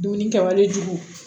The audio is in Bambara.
Dumuni kɛwalejugu